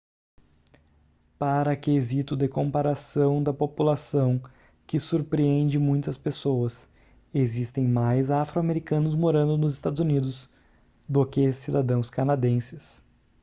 para quesito de comparação da população que surpreende muitas pessoas existem mais afro-americanos morando nos eua do que cidadãos canadenses